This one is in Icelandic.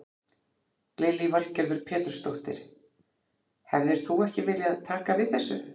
Lillý Valgerður Pétursdóttir: Hefðir þú ekki viljað taka við þessu?